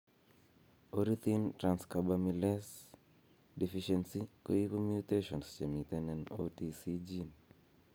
Ornithine transcarbamylase deficiency, Koipu mutations chemiten en OTC gene.